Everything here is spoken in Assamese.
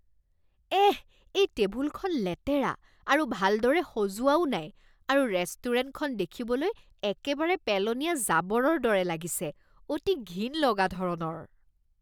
এহ! এই টেবুলখন লেতেৰা আৰু ভালদৰে সজোৱাও নাই আৰু ৰেষ্টুৰেণ্টখন দেখিবলৈ একেবাৰে পেলনীয়া জাবৰৰ দৰে লাগিছে, অতি ঘিণ লগা ধৰণৰ!!